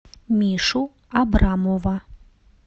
мишу абрамова